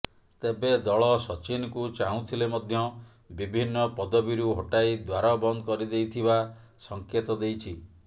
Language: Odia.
ତେବେ ଦଳ ସଚିନଙ୍କୁ ଚାହୁଁଥିଲେ ମଧ୍ୟ ବିଭିନ୍ନ ପଦବୀରୁ ହଟାଇ ଦ୍ୱାର ବନ୍ଦ କରିଦେଇଥିବା ସଙ୍କେତ ଦେଇଛି